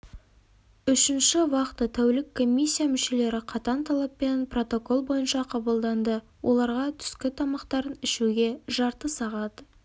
үшінші вахта тәулік комиссия мүшелері қатаң талаппен протокол бойынша қабылданды оларға түскі тамақтарын ішуге жарты сағат